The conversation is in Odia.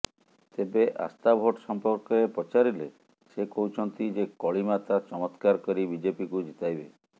ତେବେ ଆସ୍ଥାଭୋଟ ସଂପର୍କରେ ପଚାରିଲେ ସେ କହୁଛନ୍ତି ଯେ କଳିମାତା ଚମତ୍କାର କରି ବିଜେପିକୁ ଜିତାଇବେ